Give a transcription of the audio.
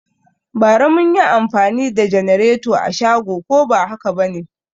Bara mun yi anfani da janareto a shago ko ba haka ba ne?